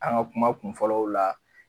An ka kuma kun fɔlɔw la.